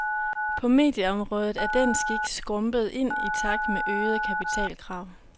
På medieområdet er den skik skrumpet ind i takt med øgede kapitalkrav.